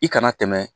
I kana tɛmɛ